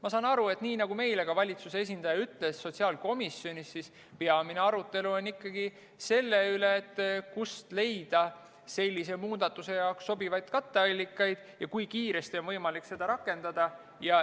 Ma saan aru, et nii nagu valitsuse esindaja meile sotsiaalkomisjonis ütles, siis peamine arutelu on ikkagi selle üle, kust leida sellise muudatuse jaoks sobivaid katteallikaid ja kui kiiresti on võimalik seda rakendada.